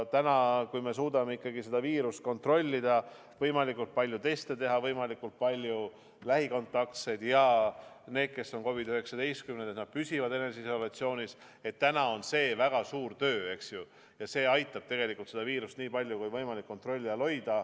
Kui me suudame seda viirust kontrollida, võimalikult palju teste teha, kui võimalikult paljud lähikontaktsed ja need, kes on COVID-19 saanud, püsivad eneseisolatsioonis – täna on see väga suur töö, aga see aitab viirust nii palju kui võimalik kontrolli all hoida.